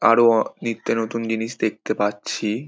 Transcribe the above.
আরো অ নিত্য নতুন জিনিস দেখতে পাচ্ছি |